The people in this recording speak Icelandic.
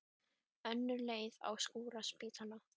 Önnur á leið að skúra spítala.